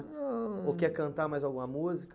Não. Ou quer cantar mais alguma música?